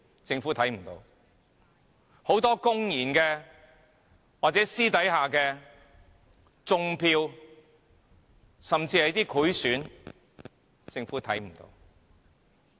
政府看不見；很多公然或私下的"種票"甚至賄選，政府也看不見。